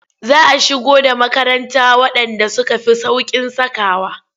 Za a shigo da makaranta waɗanda suka fi sauƙin sakawa.